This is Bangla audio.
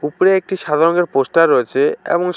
উপরে একটি সাদা রঙের পোস্টার রয়েছে এবং সা--